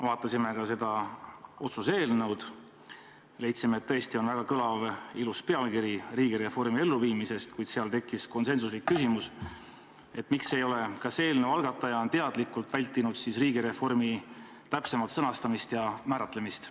Vaatasime ka seda otsuse eelnõu, leidsime, et sel on väga kõlav ja ilus pealkiri "Riigireformi elluviimisest", kuid tekkis konsensuslik küsimus, kas eelnõu algataja on teadlikult vältinud riigireformi täpsemat sõnastamist ja määratlemist.